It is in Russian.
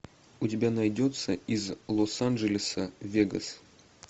у тебя найдется из лос анджелеса в вегас